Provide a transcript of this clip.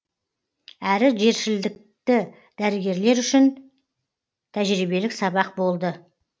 әрі жершілікті дәрігерлер үшін тәжірибелік сабақ болды